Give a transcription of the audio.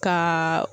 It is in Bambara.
Ka